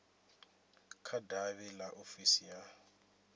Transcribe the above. kha davhi ḽa ofisi ya